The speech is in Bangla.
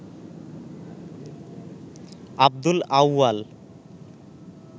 আব্দুল আউয়াল